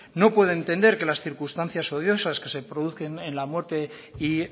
no puedo entender que las circunstancias odiosas que se producen en la muerte y